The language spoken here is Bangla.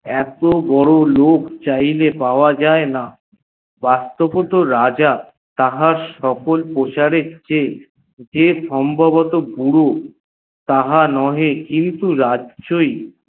এত বড় লোক চাহিলে পাওয়া যায়েনা রাজা তাহার সকল প্রজাদের চেয়ে সম্ভাবত্ত বুড়ো তাহার চেয়ে